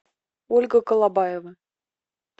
ольга колобаева